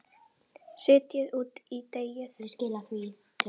Setjið út í deigið.